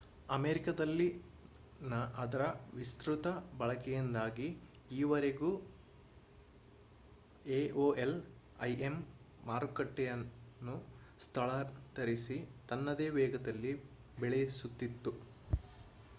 ಅಮೇರಿಕಾದಲ್ಲಿನ ಅದರ ವಿಸ್ತ್ರುತ ಬಳಕೆಯಿಂದಾಗಿ ಈವರೆವರೆಗೂ aol im ಮಾರುಕಟ್ಟೆಯನ್ನು ಸ್ಥಳಾಂತರಿಸಿ ತನ್ನದೇ ವೇಗದಲ್ಲಿ ಬೆಳೆಸುತ್ತಿತ್ತು